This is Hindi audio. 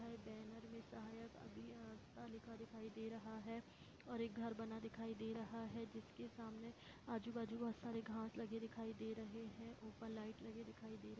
यहा बैनर दिख रहा है दिखाई दे रहा है और एक घर बना हुआ दिखाई दे रहा जिसके सामने आजू बाजु बहुत सरे घास लगे दिखाई दे रहा है ऊपर लाइट लगी दिखाई दे रही है।